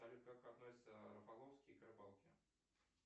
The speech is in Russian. салют как относится рафаловский к рыбалке